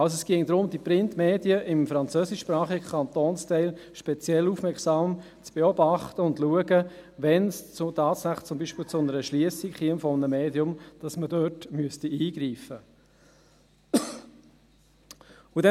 Es ginge also darum, die Printmedien im französischsprachigen Kantonsteil speziell aufmerksam zu beobachten und – sollte es tatsächlich zu einer Schliessung eines Mediums kommen – zu schauen, ob man dort eingreifen müsste.